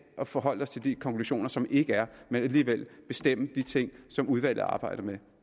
og forholde os til de konklusioner som ikke er men alligevel bestemme de ting som udvalget arbejder med